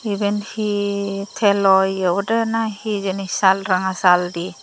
eben he telo ye obode nahi hijeni sal ranga sal de.